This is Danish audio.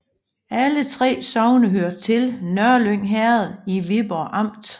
Alle 3 sogne hørte til Nørlyng Herred i Viborg Amt